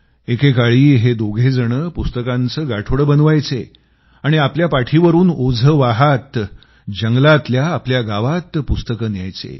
एकेकाळी हे दोघेजण पुस्तकांचं गाठोडं बनवायचे आणि आपल्या पाठीवरून ओझं वहात जंगलातल्या आपल्या गावात पुस्तकं न्यायचे